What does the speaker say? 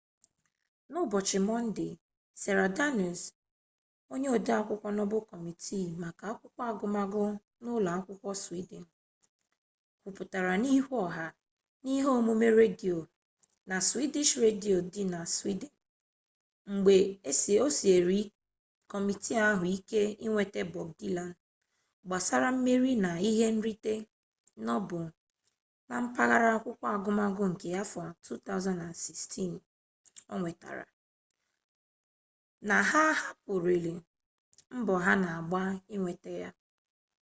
n'ụbọchị mọnde sara danius onye odeakwụkwọ nobel kọmitii maka akwụkwọ agụmagụ n'ụlọ akwụkwọ swidin kwuputara n'ihu ọha na ihe omume redio na sveriges redio dị na swidin mgbe o siere kọmitii ahụ ike inweta bob dilan gbasara mmeri na ihe nrite nobel na mpaghara akwụkwọ agụmagụ nke afọ 2016 o nwetara na ha ahapụlarị mbọ ha na-agba inweta ya